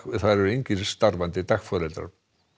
þar eru engir starfandi dagforeldrar